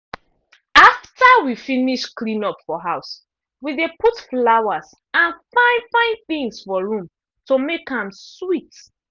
after we finish clean up for house we dey put flowers and fine-fine things for room to make am sweet.